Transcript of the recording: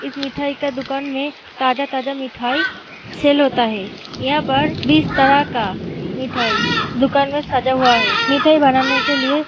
इस मिठाई का दुकान में ताजा-ताजा मिठाई सेल होता है। यहां पर बीस तरह का मिठाई दुकान में सजा हुआ है। मिठाई बनाने के लिए --